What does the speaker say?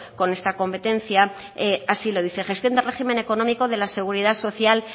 con esta competencia así lo dice gestión de régimen económico de la seguridad social